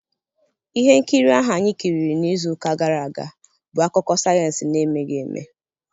Ihe nkiri ahụ anyị kiriri n'izu ụka gara aga bụ akụkọ sayensị na-emeghị eme.